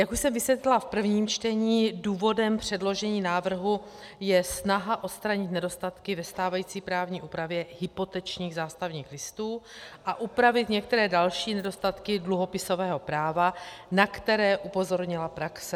Jak už jsem vysvětlila v prvním čtení, důvodem předložení návrhu je snaha odstranit nedostatky ve stávající právní úpravě hypotečních zástavních listů a upravit některé další nedostatky dluhopisového práva, na které upozornila praxe.